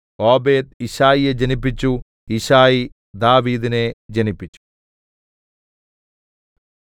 Obed യിശ്ശായിയെ ജനിപ്പിച്ചു യിശ്ശായി ദാവീദിനെ ജനിപ്പിച്ചു